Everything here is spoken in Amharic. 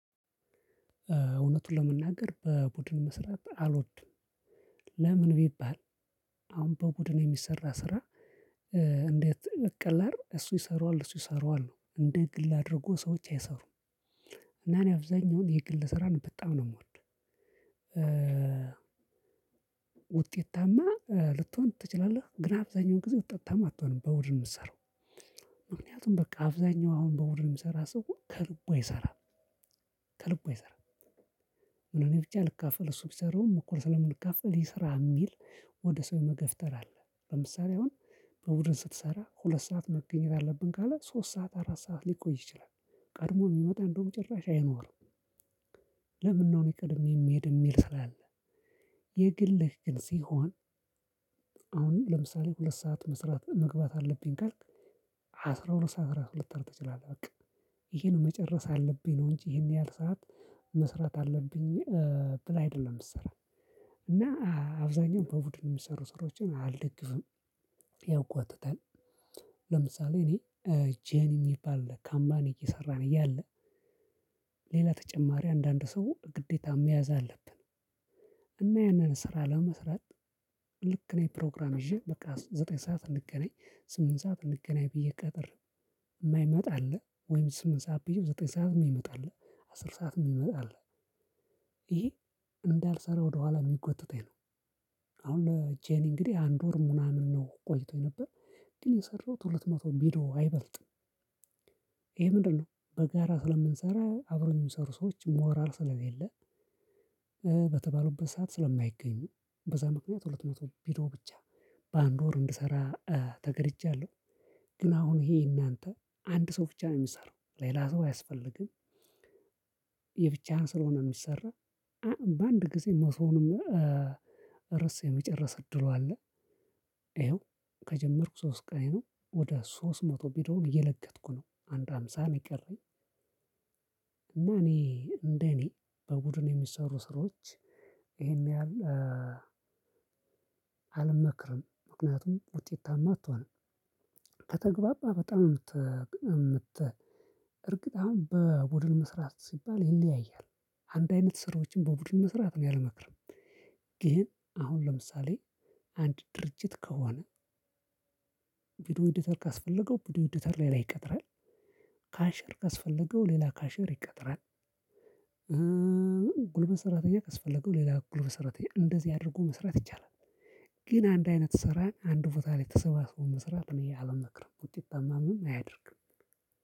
እውነቱን ለመናገር በቡድን መስራት አልወድም። ለምን ቢባል? አሁን በቡድን የሚሰራ ስራ እንዴት ቀላል እሱ ይሰራዋል እሱ ይሰራዋል እንደ ግል አድርጎ ሰዎች አይሰሩም። እና እኔ አብዛኛውን የግል ስራ ነው በጣም ነው የምወደው። ውጤታማ ልትሆን ትችላለህ ግን አብዛኛውን ጊዜ ውጤታማ አትሆንም በቡድን የምትሰራው። ምክንያቱም በቃ አብዛኛው አሁን በቡድን የምሰራ ሰው ከልቡ አይሰራም። ከልቡ አይሰራም ምን እኔ ብቻ ልካፍል እሱ ቢሰራውም እኩል ስለምንካፍል ይስራ የሚል። ወደ ሰው የመገፍተር አለ ለምሳሌ አሁን በቡድን ስትሰራ ሁለት ሰዓት መገኘት አለብን ካለ ሶስት ሰዓት አራት ሰዓት ሊቆይ ይችላል። ቀድሞ የሚመጣ እንደውም ጭራሽ አይኖርም። ለምነው እኔ ቀድሜ የምሄድ የሚል ስራ አለ። የግልህ ግን ሲሆን። አሁን ለምሳሌ ሁለት ሰዓት መስራት መግባት አለብኝ ካልክ አስራ ሁለት ሰዓት እራሱ ልትሄድ ትችላለህ። በቃ ይሄን መጨረስ አለብኝ ነው እንጂ ይሄን ያህል ሰዓት መስራት አለብኝ። ብለህ አይደለም የምትሰራ። እና አብዛኛውን በቡድን የሚሰሩ ስራዎችን አልደግፍም ያጓትታል። ለምሳሌ እኔ ጄኒ የሚባል ካምባኒ እየሰራን እያለ ሌላ ተጨማሪ አንዳንድ ሰው ግዴታ መያዝ አለብን። እና ያንን ስራ ለመስራት ልክ ነው ፕሮግራም ይዤ በቃ ዘጠኝ ሰዓት እንገናኝ ስምንት ሰዓት እንገናኝ ብዬ ቀጥሬው። የማይመጣ አለ ወይም ስምንት ሰዓት ብየው ዘጠኝ ሰዓት የሚመጣ አለ። አስር ሰዓት የሚመጣ አለ። ይሄ እንዳልሰራ ወደኋላ የሚጎትተኝ ነው። አሁን ለጄኒ እንግዲህ አንድ ወር ምናምን ነው ቆይቶ የነበር ግን የሰራሁት ሁለት መቶ ቪዲዮ አይበልጥም። ይሄ ምንድን ነው? በጋራ ስለምንሰራ አብረውኝ የሚሰሩ ሰዎች ሞራል ስለሌለ። በተባሉበት ሰዓት ስለማይገኙ በዛ ምክንያት ሁለት መቶ ቪድዮ ብቻ በአንድ ወር እንድሰራ ተገደጃለሁ። ግን አሁን ይሄ የእናንተ አንድ ሰው ብቻ ነው የሚሰራው ሌላ ሰው አያስፈልግም። የብቻህን ስለሆነ የሚሰራ በአንድ ጊዜ መቶውንም ርዕስ የመጨርስ እድሉ አለ። ይሄው ከጀመርኩ ሶስት ቀኔ ነው ወደ ሶስት መቶ ቪዲዮ እየለገትኩ ነው አንድ ሃምሳ ነው የቀረኝ። እና እኔ እንደ እኔ በቡድን የሚሰሩ ስራዎች ይሄን ያህል አልመክርም ምክንያቱም ውጤታማ አትሆንም። ከተግባባህ በጣም ነው የምት በርግጥ አሁን በቡድን መስራት ሲባል ይለያያል። አንድ አይነት ስራዎችን በቡድን መስራት እኔ አልመክርም። ይሄን አሁን ለምሳሌ አንድ ድርጅት ከሆነ ቪዲዮ ኤዲተር ካስፈለገው ቪዲዮ ኤዲተር ሌላ ይቀጥራል። ካሽር ካስፈለገው ሌላ ካሽር ይቀጥራል። ጉልበት ሰራተኛ ከስፈለገው ሌላ ጉልበት ሰራተኛ እንደዚህ አድርጎ መስራት ይቻላል። ግን አንድ አይነት ስራ አንድ ቦታ ላይ ተሰባስቦ መስራት እኔ አልመክርም ውጤታማም አያደርግም።